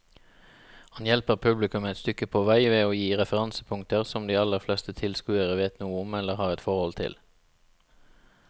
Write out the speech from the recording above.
Han hjelper publikum et stykke på vei ved å gi referansepunkter som de aller fleste tilskuere vet noe om eller har et forhold til.